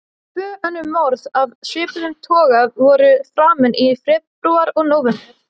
Tvö önnur morð af svipuðum toga voru framin í febrúar og nóvember.